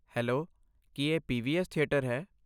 Hello, ਕੀ ਇਹ PVS. Theatre ਹੈ?